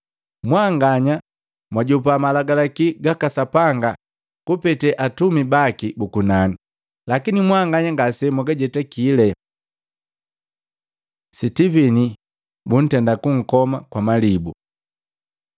Mwanganya mwajopa malagalaki gaka Sapanga kupete atumi baki buku nani, lakini mwanganya ngase mugajetakile.” Sitivini buntenda kunkoma kwa malibu